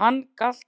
Hann galt